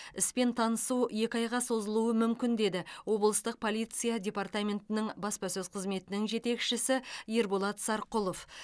іспен танысу екі айға созылуы мүмкін деді облыстық полиция департаментінің баспасөз қызметінің жетекшісі ерболат сарқұлов